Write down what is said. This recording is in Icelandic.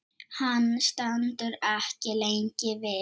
Hann stendur ekki lengi við.